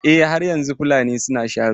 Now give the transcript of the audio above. Eh, har yanzu Fulani suna sharo.